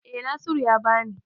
Eh Naziru ya ba ni.